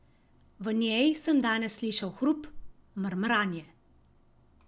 V njej sem danes slišal hrup, mrmranje.